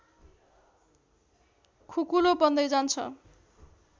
खुकुलो बन्दै जान्छ